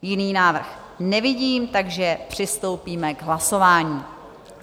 Jiný návrh nevidím, takže přistoupíme k hlasování.